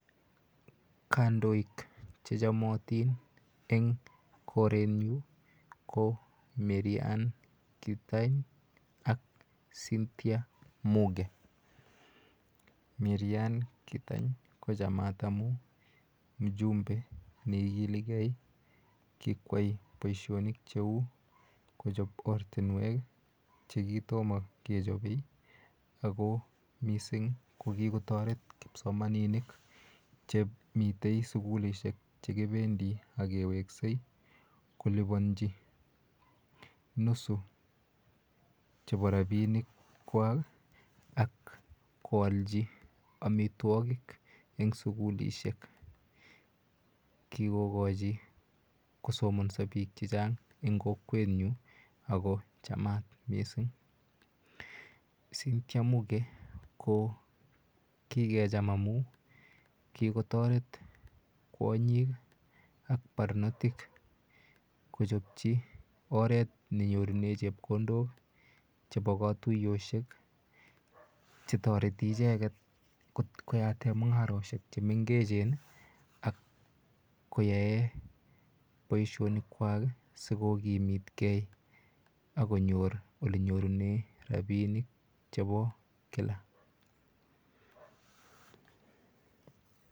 Kandoik che chamatin en korenyun ko Maryane Keitany ak Cynthia Muge. Maryanne Keitany ko chamat amu mjumbe ne ikiligei, kikoyai poishonik che u kochao ortunwek che kitoma kecho ako missing' ko kikotaret kipsomaninik che mitei sukulishek che kipendi ak kewekse kolipanchi nusu chepo rapinikwak ak koalchi amitwogik eng' sukulishek. Kikokachi kosomansa piik che chang' eng' ako chamat missing'. Cynthia Muge ko kikecham amun kikotaret kwonyiik ak parnotik kochopchi oret ne nyorune chepkondok chepo katuyoshek che tareti icheget koyat mung'aroshek chr mengechen ak koyae poishonikwak i si ko kimitgei ak konyor ole nyorune rapinik chepo kila.